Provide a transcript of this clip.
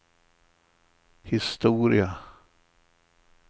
historia